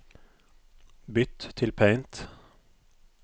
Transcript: Bytt til Paint